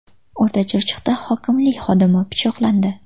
O‘rta Chirchiqda hokimlik xodimi pichoqlandi.